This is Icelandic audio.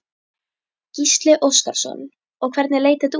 Gísli Óskarsson: Og hvernig leit þetta út?